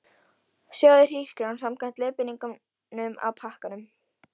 Sjóðið hrísgrjónin samkvæmt leiðbeiningum á pakkanum.